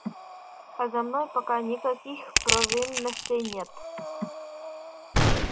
а за мной пока никаких провинностей нет